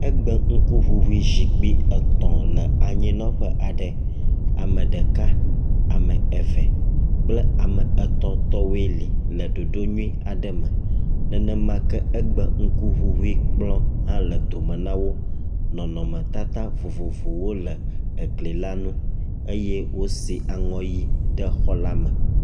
Egebŋkuŋuŋu zikpui etɔ̃ le anyinɔƒe aɖe. Ame ɖeka, ame eve kple ame etɔ̃ tɔwoe li le ɖoɖo nyui aɖe me. Nenemake egbe ŋkuŋuŋui kplɔ hã le dome na wo. Nɔnɔmetata vovovowoe le egli la nu eye wosi aŋɔ ʋi ɖe xɔ la me.